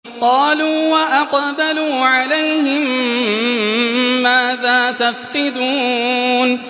قَالُوا وَأَقْبَلُوا عَلَيْهِم مَّاذَا تَفْقِدُونَ